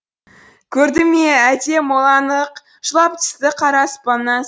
көрді ме әлде моланы ық жылап түсті қара аспаннан